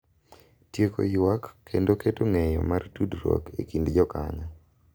Tieko ywak kendo keto ng’eyo mar tudruok e kind jokanyo.